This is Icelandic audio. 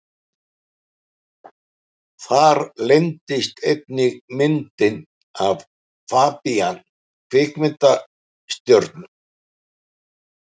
Þar leyndist einnig myndin af FABÍAN kvikmyndastjörnu.